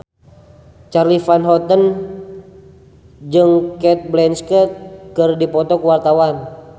Charly Van Houten jeung Cate Blanchett keur dipoto ku wartawan